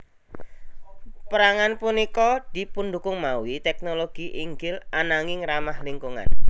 Pérangan punika dipundukung mawi teknologi inggil ananging ramah lingkungan